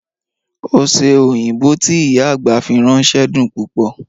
Oṣẹ́ oyinbọ́ tí ìyá agbá fi rànṣẹ̀ dún púpọ̀.